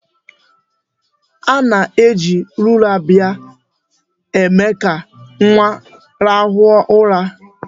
A na-eji lulabaị eme ka nwa rahụ ụra.